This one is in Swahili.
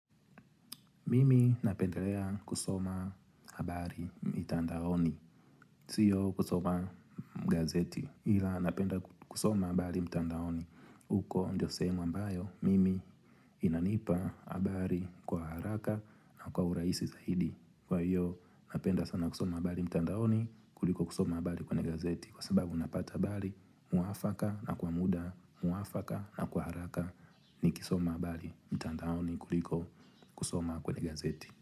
Mimi napendelea kusoma habari mitandaoni, sio kusoma gazeti, ila napenda kusoma habari mtandaoni. Huko ndio sehemu ambayo, mimi inanipa habari kwa haraka na kwa urahisi zaidi. Kwa hiyo, napenda sana kusoma habari mtandaoni kuliko kusoma habari kwenye gazeti, kwa sababu unapata habari mwafaka na kwa muda mwafaka na kwa haraka nikisoma habari mtandaoni kuliko kusoma kwenye gazeti.